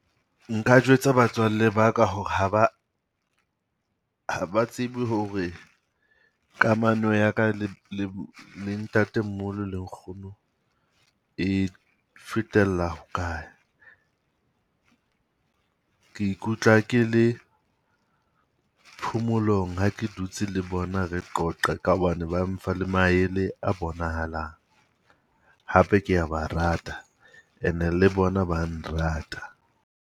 Nka jwetsa batswalle ba ka hore ha ba ha ba tsebe hore kamano ya ka le le le ntatemoholo le nkgono e fetella ho kae. Ke ikutlwa ke le phomolong ha ke dutse le bona re qoqa ka hobane ba mpha le maele a bonahalang. Hape ke ya ba rata ene le bona ba nrata.